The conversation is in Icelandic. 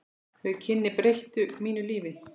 Þau kynni breyttu mínu lífi.